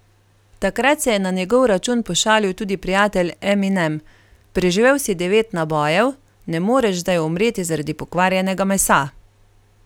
Takrat se je na njegov račun pošalil tudi prijatelj Eminem: 'Preživel si devet nabojev, ne moreš zdaj umreti zaradi pokvarjenega mesa.